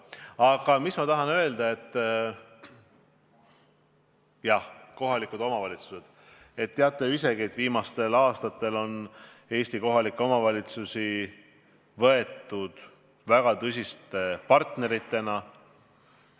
Aga ma tahan öelda seda, et te teate ju isegi, et viimastel aastatel on Eesti kohalikke omavalitsusi võetud väga tõsiste partneritena.